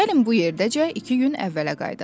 Gəlin bu yerdəcə iki gün əvvələ qayıdaq.